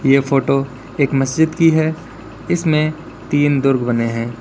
ये फोटो एक मस्जिद की है इसमें तीन दुर्ग बने है।